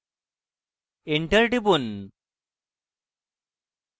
enter টিপুন